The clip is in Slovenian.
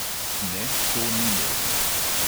Ne, to ni možno.